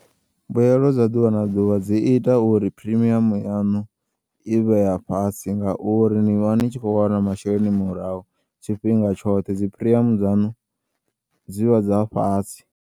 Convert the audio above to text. Mbuyelo dza ḓuvha na ḓuvha dzi ita uri premium yaṋu i vhe yafhasi ngauri ni vha nitshi khou wana masheleni murahu tshifhinga tshoṱhe dzi premium dzanu dzivha dza fhasi.